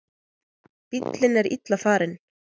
Bíllinn er illa farinn.